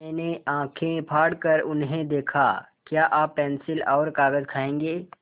मैंने आँखें फाड़ कर उन्हें देखा क्या आप पेन्सिल और कागज़ खाएँगे